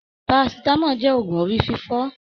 Paracetamol jẹ́ ògún orí fífọ́.